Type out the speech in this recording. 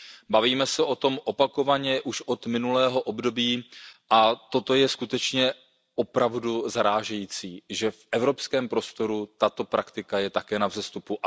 Bavíme se o tom opakovaně už od minulého období a toto je opravdu zarážející, že v Evropském prostoru je tato praktika na vzestupu.